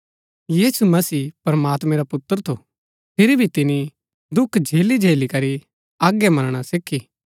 यीशु मसीह प्रमात्मैं रा पुत्र थू फिरी भी तिनी दुख झेलीझेली करी आज्ञा मनणा सीखी